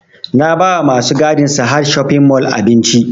Na ba wa masu gadin sahad shopping mall abinci